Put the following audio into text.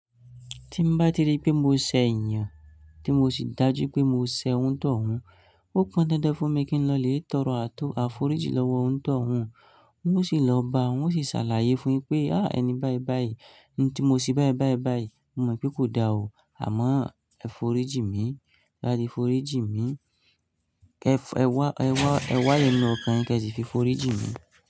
Tí maa ti rí pé mo ṣẹ̀ èeyan, tí mo sì dájú pé mo ṣẹ̀ onitohun, ó kan dandan fún mi kí n lọ lè tọrọ àtọ afórijì lọ́wọ́ onitohun. N ó sì lọ bá a, ń ó sì ṣàlàyé fún un pé, "à ẹni báì báì, ń ti mo sì báì báì báì, mo mọ̀ pé kò da o, àmọ́ ẹ fòríìjì mi, tẹ bá ti fòríìjì mi. Ẹ wá, ẹ̀ wá ẹnu ọkàn yín kí ẹ sì fi fòríìjì mi."